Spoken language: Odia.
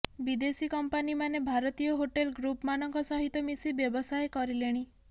ବିଦେଶୀ କଂପାନୀମାନେ ଭାରତୀୟ ହୋଟେଲ୍ ଗ୍ରୁପମାନଙ୍କ ସହିତ ମିଶି ବ୍ୟବସାୟ କରିଲେଣି